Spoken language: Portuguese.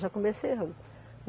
Já comecei errando.